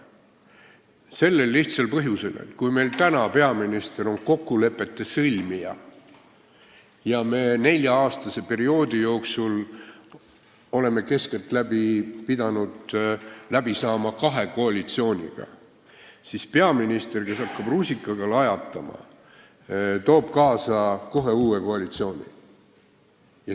Sellel lihtsal põhjusel, et kui meil praegu peaminister on kokkulepete sõlmija ja me nelja-aastase perioodi jooksul oleme keskeltläbi pidanud läbi saama kahe koalitsiooniga, siis peaminister, kes hakkab rusikaga lajatama, toob kohe kaasa uue koalitsiooni.